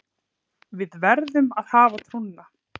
Við verðum að hafa trúna